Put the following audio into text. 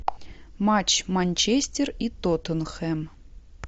матч манчестер и тоттенхэм